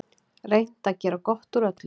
Reynt að gera gott úr öllu.